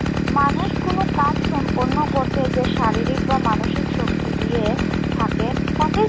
মানুষ কোনো কাজ সম্পন্ন করতে যে শারীরিক বা মানসিক শক্তি দিয়ে থাকে তাকেই